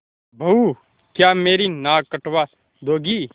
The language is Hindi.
बहू क्या मेरी नाक कटवा दोगी